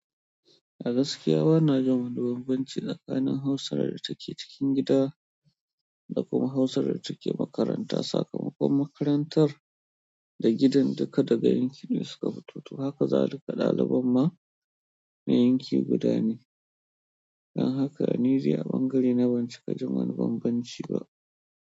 A gaskiya bana jin wani banbanci tsakanin hausa da take cikin gida da kuma hausa da take makaranta. Sakamakon makarantar da gidan duka daga yankin ɗaya suka fito haka za lika ɗaliban ma na yanki guda ne. Don haka ni dai a ɓangare na ban cika jin wani banbanci ba.